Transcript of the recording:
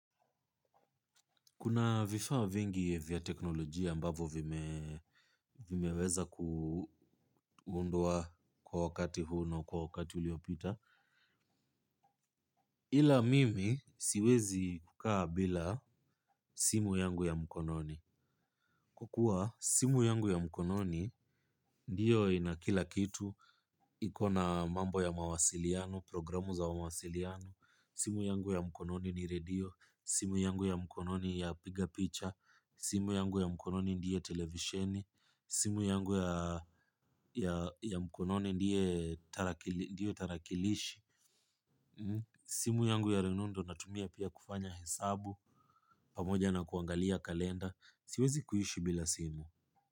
Kuna vifaa vingi vya teknolojia ambavyo vimeweza kuundwa kwa wakati huu na kwa wakati uliopita. Ila mimi siwezi kukaa bila simu yangu ya mkononi. Kwa kuwa, simu yangu ya mkononi ndiyo inakila kitu. Iko na mambo ya mawasiliano programu za mawasiliano. Simu yangu ya mkononi ni redio. Simu yangu ya mkononi ya piga picture. Simu yangu ya mkononi ndiye television. Simu yangu ya mkononi ndiyo tarakilishi. Simu yangu ya rununu ndio natumia pia kufanya hesabu pamoja na kuangalia kalenda. Siwezi kuishi bila simu.